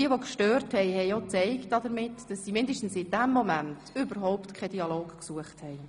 Jene, die störten, zeigten damit, dass sie mindestens in diesem Moment überhaupt keinen Dialog gesucht haben.